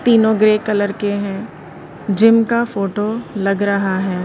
तीनों grey colour के हैं जिम का फोटो लग रहा है।